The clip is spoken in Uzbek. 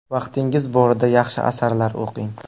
Vaqtingiz borida yaxshi asarlar o‘qing.